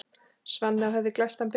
Svanni á höfði glæstan ber.